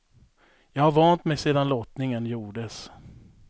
Jag har vant mig sedan lottningen gjordes.